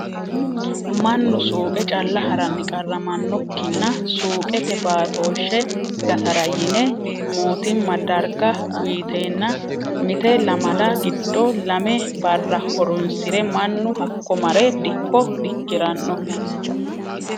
Mannu suuqe calla haranni qarramanokkinna suuqete batoshshe gatara yine mootimma darga uuyitenna mite lamalla giddo lame barra horonsire mannu hakko mare dikko dikirano.